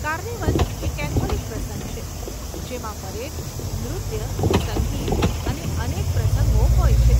Carnival એ Catholic પ્રસંગ છે, જેમાં પરેડ, નૃત્ય, સંગીત અને અનેક પ્રસંગો હોય છે.